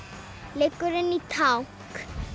liggur inn í tank